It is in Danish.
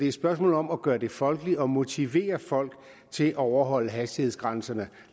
et spørgsmål om at gøre det folkeligt og motivere folk til at overholde hastighedsgrænserne